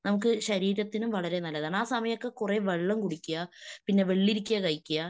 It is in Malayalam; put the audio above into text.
നമുക്ക് ശരീരത്തിനും വളരേ നല്ലതാണ്. ആ സമയമൊക്കെ കുറേ വെള്ളം കുടിക്കുക. പിന്നെ വെള്ളിരിക്ക കഴിക്ക്യാ.